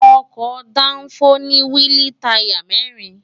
ọkọ̀ dáńfó ní wíìlì táyà mẹ́rin